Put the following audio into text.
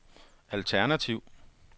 alternativ